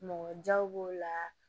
Mɔgɔ jaw b'o la